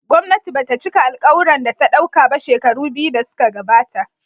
Gwamnati ba ta cika alkawurin da ta dauka ba shekaru biyu da suka gabata.